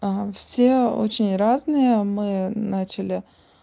ага все очень разные мы начали